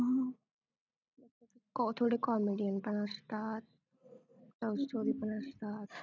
कॉ थोडे comedian पण असतात love story पण असतात मी काय काय बघितलं ते सांगितलं